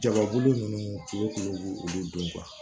Jaba bulu nunnu fu b'u olu don